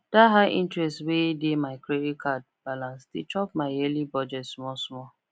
the high interest wey dey my credit card balance dey chop my yearly budget small small